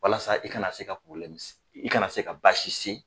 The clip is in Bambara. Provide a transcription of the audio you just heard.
Walasa i kana se ka i kana se ka baasi se